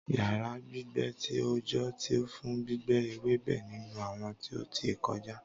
Yara gbigbe ti a oojọ ti fun gbígbẹ ewebe ninu awọn ti o ti kọja